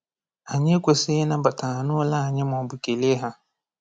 Anyị ekwesịghị ịnabata ha n’ụlọ anyị maọbụ kelee ha.